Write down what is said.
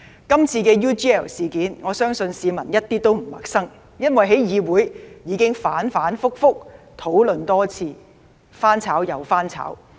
今次 UGL 事件，我相信市民一點也不陌生，因為在議會已反反覆覆多次討論，"翻炒又翻炒"。